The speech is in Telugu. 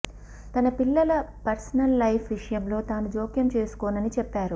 తన పిల్లల పర్సనల్ లైఫ్ విషయంలో తాను జోక్యం చేసుకోనని చెప్పారు